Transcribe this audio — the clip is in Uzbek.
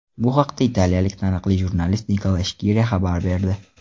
Bu haqda italiyalik taniqli jurnalist Nikola Skira xabar berdi.